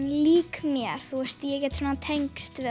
lík mér ég get svona tengst við